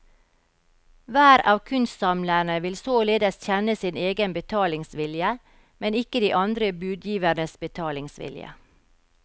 Hver av kunstsamlerne vil således kjenne sin egen betalingsvilje, men ikke de andre budgivernes betalingsvilje.